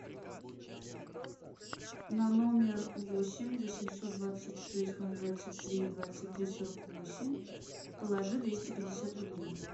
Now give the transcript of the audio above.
на номер восемь восемьсот двадцать шесть ноль двадцать три двадцать три сорок восемь положи двести пятьдесят рублей